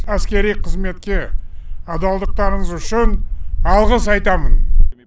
әскери қызметке адалдықтарыңыз үшін алғыс айтамын